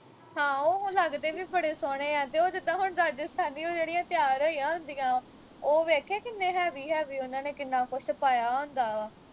ਹਾਂ ਉਹ ਹੁਣ ਲੱਗਦੇ ਵੀ ਬੜੇ ਸੋਹਣੇ ਆ ਤੇ ਉਹ ਜਿੱਦਾਂ ਹੁਣ ਰਾਜਸਥਾਨੀ ਉਹ ਜਿਹੜੀਆਂ ਤਿਆਰ ਹੋਈਆ ਹੁੰਦੀਆਂ ਉਹ ਵੇਖੇ ਕਿੰਨੇ heavy ਉਹਨਾਂ ਨੇ ਕਿੰਨਾ ਕੁਛ ਪਾਇਆ ਹੁੰਦਾ ਵਾ